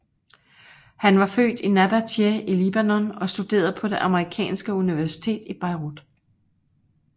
Han var født i Nabatieh i Libanon og studerede på det Amerikanske universitet i Beirut